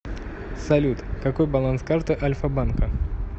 салют какой баланс карты альфа банка